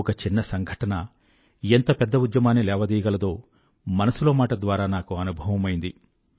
ఒక చిన్న సంఘటన ఎంత పెద్ద ఉద్యమాన్ని లేవదీయగలదో మనసులో మాట ద్వారా నాకు అనుభవమైంది